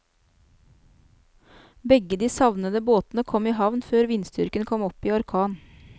Begge de savnede båtene kom i havn før vindstyrken kom opp i orkan.